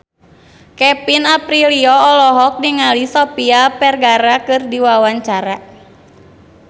Kevin Aprilio olohok ningali Sofia Vergara keur diwawancara